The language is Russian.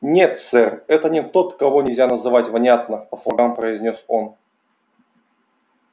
нет сэр это не тот кого нельзя называть внятно по слогам произнёс он